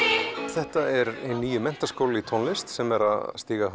þetta er hinn nýi Menntaskóli í tónlist sem er að stíga